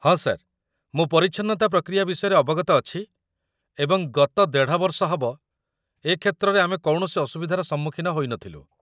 ହଁ ସାର୍, ମୁଁ ପରିଚ୍ଛନ୍ନତା ପ୍ରକ୍ରିୟା ବିଷୟରେ ଅବଗତ ଅଛି ଏବଂ ଗତ ୧.୫ ବର୍ଷ ହେବ ଏ କ୍ଷେତ୍ରରେ ଆମେ କୌଣସି ଅସୁବିଧାର ସମ୍ମୁଖୀନ ହୋଇ ନଥିଲୁ |